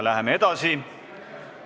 Läheme edasi.